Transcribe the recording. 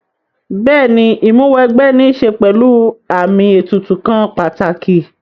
Bẹ́ẹ̀ni Ìmúw'ẹgbẹ́ ní ṣe pẹ̀lú àmì ètùtù kan pàtàkì